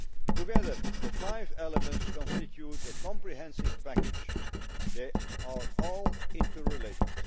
Together, the five elements constitute a comprehensive package and are all interrelated.